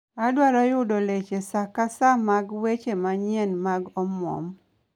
Adwaro yudo leche sa ka sa mag weche manyien mag omwom